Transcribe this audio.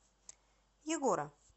егора